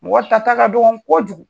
Mɔgɔ ta ta ka dɔgɔ kojugu.